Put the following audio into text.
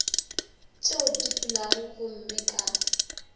tšeo di fulago gomme ka